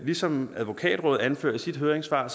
ligesom advokatrådet anfører i sit høringssvar